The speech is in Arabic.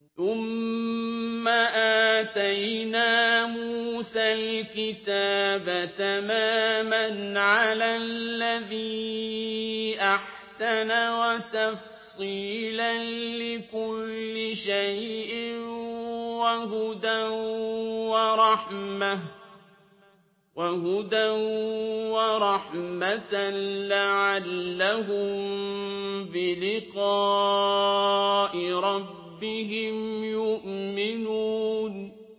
ثُمَّ آتَيْنَا مُوسَى الْكِتَابَ تَمَامًا عَلَى الَّذِي أَحْسَنَ وَتَفْصِيلًا لِّكُلِّ شَيْءٍ وَهُدًى وَرَحْمَةً لَّعَلَّهُم بِلِقَاءِ رَبِّهِمْ يُؤْمِنُونَ